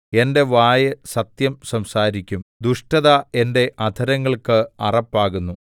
എന്റെ വായ് സത്യം സംസാരിക്കും ദുഷ്ടത എന്റെ അധരങ്ങൾക്ക് അറപ്പാകുന്നു